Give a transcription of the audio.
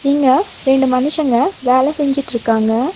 இங்க ரெண்டு மனிசங்க வேல செஞ்சிட்டுருக்காங்க.